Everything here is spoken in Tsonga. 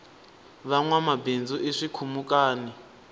vanwama bindzu i swikhumukani